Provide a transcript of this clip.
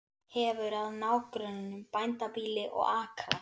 Hefur að nágrönnum bændabýli og akra.